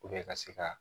ka se ka